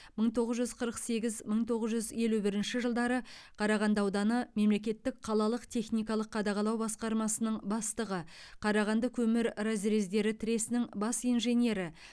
мың тоғыз жүз қырық сегіз мың тоғыз жүз елу бірінші жылдары қарағанды ауданы мемлекеттік қалалық техникалық қадағалау басқармасының бастығы қарағандыкөмір разрездері тресінің бас инженері